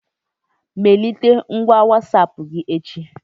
Melite ngwa Wasapụ gị echi